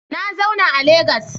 Na zauna a Legas